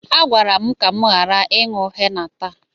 A gwara m ka m ghara ịṅụ henna taa.